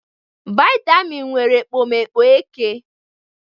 Vitamin nwere ekpomeekpo eke